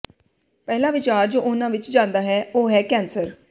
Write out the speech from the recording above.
ਪਹਿਲਾ ਵਿਚਾਰ ਜੋ ਉਹਨਾਂ ਵਿੱਚ ਜਾਂਦਾ ਹੈ ਉਹ ਹੈ ਕੈਂਸਰ